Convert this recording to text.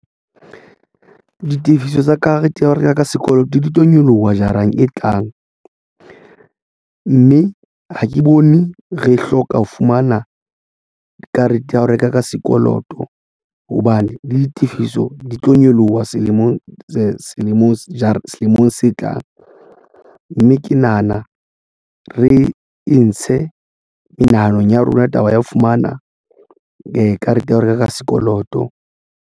Ditefiso tsa karete ya ho reka ka sekoloto di tlo nyoloha jara e tlang, mme ha ke bone re hloka ho fumana karete ya ho reka ka sekoloto hobane le ditifiso di tlo nyoloha selemong se tlang, mme ke nahana re intshe menahano ya rona taba ya ho fumana karete ya ho reka ka sekoloto.